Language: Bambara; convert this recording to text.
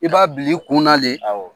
I b'a bila kunna le. Awɔ.